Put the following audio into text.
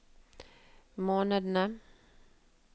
månedene